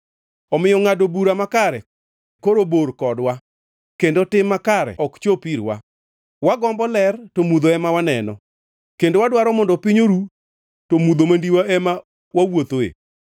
Omiyo ngʼado bura makare koro bor kodwa, kendo tim makare ok chop irwa. Wagombo ler, to mudho ema waneno; kendo wadwaro mondo piny oru, to mudho mandiwa ema wawuothoe.